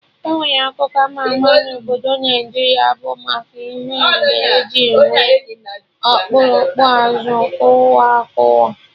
Enwere akụkọ ama ama na obodo Naijiria bụ maka ihe mbe ji nwee okpurukpu azụ kụwa akụwa